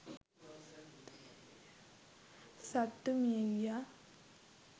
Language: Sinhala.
සත්තු මිය ගියා.